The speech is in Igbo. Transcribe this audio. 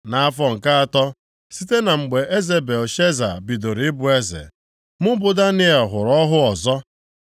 Nʼafọ nke atọ site na mgbe eze Belshaza bidoro ịbụ eze, mụ bụ Daniel hụrụ ọhụ ọzọ.